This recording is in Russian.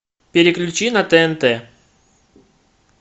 переключи на тнт